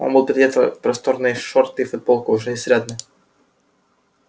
он был переодет в просторные шорты и футболку уже изрядно